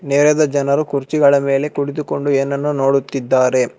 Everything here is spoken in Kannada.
ನೇರದ ಜನರು ಕುರ್ಚಿಗಳ ಮೇಲೆ ಕುಳಿತುಕೊಂಡು ಏನನ್ನು ನೋಡುತ್ತಿದ್ದಾರೆ.